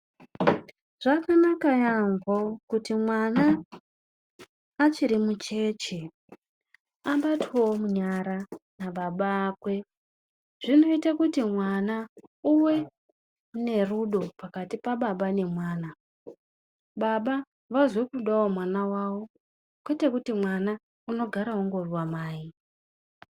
Zvakanaka yaamho kuti mwana achiri mucheche abatwewo munyara nababa vakwe. Zvinoite kuti mwana uwe nerudo pakati pababa nemwana. Baba vazwekudawo mwana vavo kwete kuti mwana unogara angori wamai.